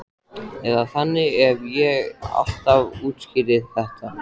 Eða þannig hef ég alltaf útskýrt þetta.